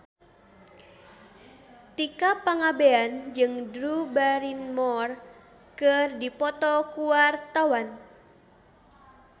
Tika Pangabean jeung Drew Barrymore keur dipoto ku wartawan